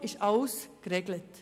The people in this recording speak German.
Es ist alles sinnvoll geregelt.